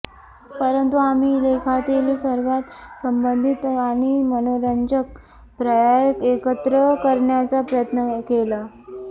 परंतु आम्ही लेखातील सर्वात संबंधित आणि मनोरंजक पर्याय एकत्र करण्याचा प्रयत्न केला